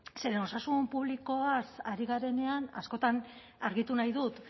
zeren osasun publikoaz ari garenean askotan argitu nahi dut